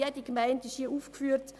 Jede Gemeinde wird hier aufgeführt.